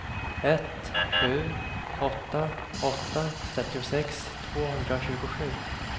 ett sju åtta åtta trettiosex tvåhundratjugosju